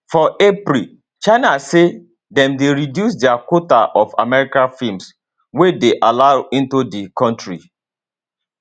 for april china say dem dey reduce dia quota of american films wey dey allowed into di kontri